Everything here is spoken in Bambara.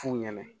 F'u ɲɛnɛ